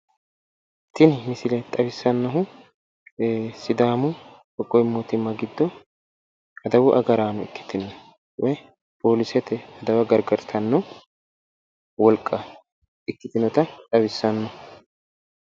Tini misile xawissannohu sidaamu qoqqowi mootimma giddo adawu agaraano ikkitinota xawissanno misileeti